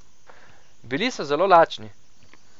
Bili so zelo lačni.